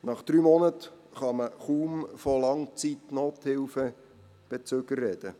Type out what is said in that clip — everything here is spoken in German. Nach drei Monaten kann man kaum von Langzeit-Nothilfebezügern sprechen.